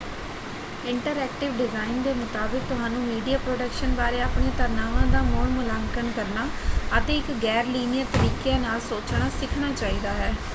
Interactive design ਦੇ ਮੁਤਾਬਕ ਤੁਹਾਨੂੰ ਮੀਡੀਆ ਪ੍ਰੋਡਕਸ਼ਨ ਬਾਰੇ ਆਪਣੀਆਂ ਧਾਰਨਾਵਾਂ ਦਾ ਮੁੜ ਮੁਲਾਂਕਣ ਕਰਨਾ ਅਤੇ ਇੱਕ ਗੈਰ-ਲੀਨੀਅਰ ਤਰੀਕਿਆਂ ਨਾਲ ਸੋਚਣਾ ਸਿੱਖਣਾ ਚਾਹੀਦਾ ਹੈ।